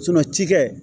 ci kɛ